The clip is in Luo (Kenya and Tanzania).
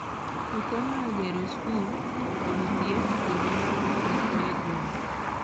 okonyo e gero skul, od thieth, kod mwandu mamoko e gwenge